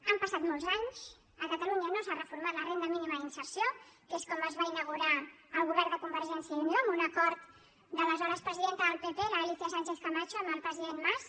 han passat molts anys a catalunya no s’ha reformat la renda mínima d’inserció que és com es va inaugurar el govern de convergència i unió amb un acord de l’aleshores presidenta del pp l’alícia sánchez camacho amb el president mas